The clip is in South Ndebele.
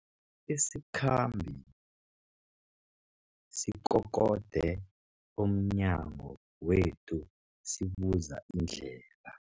Isikhambi sikokode emnyango wethu sibuza indlela.